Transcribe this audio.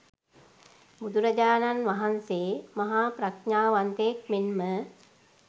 බුදුරජාණන් වහන්සේ මහා ප්‍රඥාවන්තයෙක් මෙන්ම